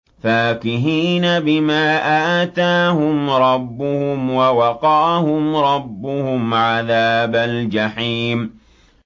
فَاكِهِينَ بِمَا آتَاهُمْ رَبُّهُمْ وَوَقَاهُمْ رَبُّهُمْ عَذَابَ الْجَحِيمِ